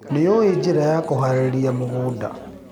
Nĩũĩ njĩra ya kũharĩrĩria mũgũnda.